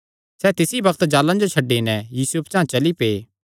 सैह़ तिसी बग्त जाल़ां जो छड्डी नैं यीशुये पचांह़ चली पै